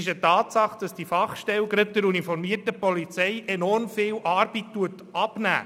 Es ist eine Tatsache, dass diese Fachstelle gerade der uniformierten Polizei enorm viel Arbeit abnimmt.